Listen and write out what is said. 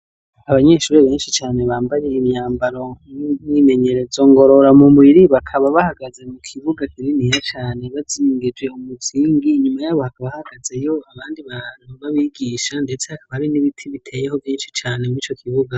Abanyeshuri benshi cane bambaye imyambaro y'imyimenyerezo ngorora mubiri , bakaba bahagaze mu kibuga kininiya cane bazingije umuzingi , nyuma yabo hakaba hahagazeyo abandi bantu babigisha , ndetse kakaba hari n'ibiti biteyeho vyinshi cane mwico kibuga.